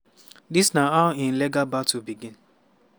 dis na how im legal battle begin.